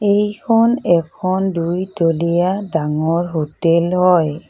এইখন এখন দুইতলিয়া ডাঙৰ হোটেল হয়।